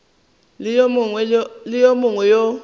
le wo mongwe wo o